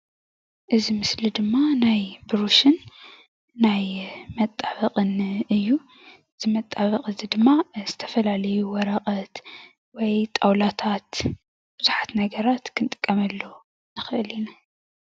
እዚ ምስሊ ድማ ናይ ብሩሽን ናይ መጣበቕን እዩ እዚ መጣበቒ እዚ ድማ ዝተፈላለዩ ወረቐት ወይ ጣውላታት ብዙሓት ነገራት ክንጥቀመሉ ንኽእል ኢና።